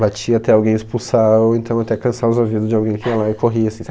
Batia até alguém expulsar ou então até cansar os ouvido de alguém que ia lá e corria assim.